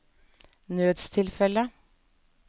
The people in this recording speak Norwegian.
nødstilfelle